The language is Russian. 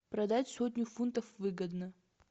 продать сотню фунтов выгодно